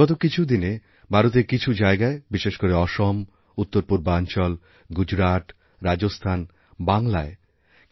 গত কিছু দিনে ভারতেরকিছু জায়গায় বিশেষ করে অসম উত্তরপূর্বাঞ্চল গুজরাট রাজস্থান বাংলার